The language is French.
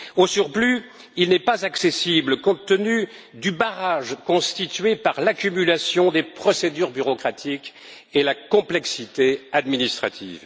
Au surplus, il n'est pas accessible compte tenu du barrage constitué par l'accumulation des procédures bureaucratiques et la complexité administrative.